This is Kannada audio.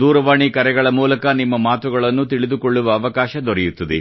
ದೂರವಾಣಿ ಕರೆಗಳ ಮೂಲಕ ನಿಮ್ಮ ಮಾತುಗಳನ್ನು ತಿಳಿದುಕೊಳ್ಳುವ ಅವಕಾಶ ದೊರೆಯುತ್ತದೆ